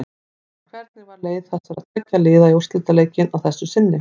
En hvernig var leið þessara tveggja liða í úrslitaleikinn að þessu sinni?